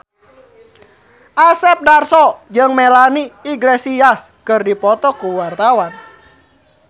Asep Darso jeung Melanie Iglesias keur dipoto ku wartawan